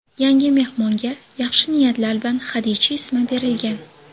Yangi mehmonga yaxshi niyatlar bilan Xadicha ismi berilgan.